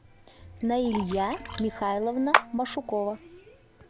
наилья михайловна машукова